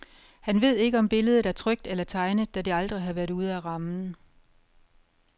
Han véd ikke om billedet er trykt eller tegnet, da det aldrig har været ude af rammen.